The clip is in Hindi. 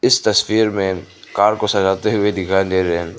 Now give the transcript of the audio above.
इस तस्वीर में कार को सजाते हुए दिखाई दे रहें --